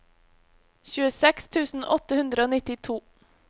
tjueseks tusen åtte hundre og nittito